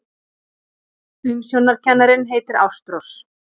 Umsjónarkennarinn heitir Ástrós.